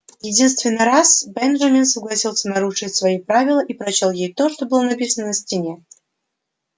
единственный раз бенджамин согласился нарушить свои правила и прочёл ей то что было написано на стене